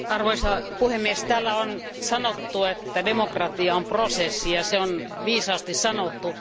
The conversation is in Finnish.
Arvoisa puhemies, täällä on sanottu, että demokratia on prosessi, ja se on viisaasti sanottu.